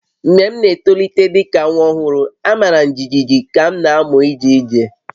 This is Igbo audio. Mgbe m n'etolite dị ka nwa ọhụrụ, a mara m jijiji ka m na-amụ ije ije